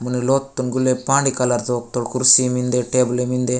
मने लोतन गुल्ले पानी कलर तोक-तोक कुर्सी मिन्दे टेबले मिन्दे।